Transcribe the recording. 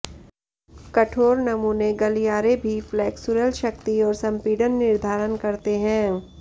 कठोर नमूने गलियारे भी फ्लेक्सुरल शक्ति और संपीड़न निर्धारण करते हैं